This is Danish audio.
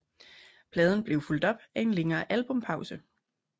Pladen blev fulgt op af en længere albumpause